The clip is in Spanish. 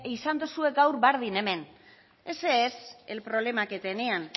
izan duzue gaur berdin hemen ese es el problema que tenían